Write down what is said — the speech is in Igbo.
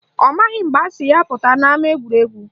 Ọ maghị mgbe asị ya pụta n'ama egwuregwu